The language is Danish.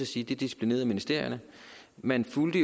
sige disciplinerede ministerierne man fulgte